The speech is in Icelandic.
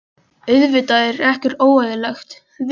Auðvitað er ekkert óeðlilegt við það að reka sig á.